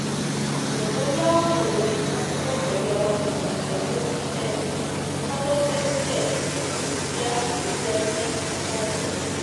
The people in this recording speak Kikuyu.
Mũtongoria wa bũrũri na mũtongoria wa kĩama kĩa ODM nĩ mathondekire gĩkundi kĩa acirithania atandatũ.